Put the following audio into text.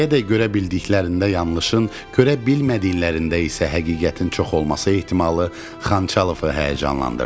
İndiyədək görə bildiklərində yanlışın, görə bilmədiklərində isə həqiqətin çox olması ehtimalı Xançalovu həyəcanlandırdı.